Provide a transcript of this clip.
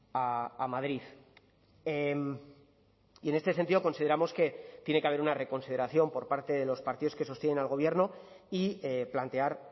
a madrid y en este sentido consideramos que tiene que haber una reconsideración por parte de los partidos que sostienen al gobierno y plantear